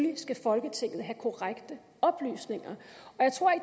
folketinget have korrekte oplysninger